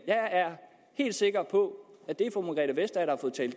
jeg er helt sikker på at det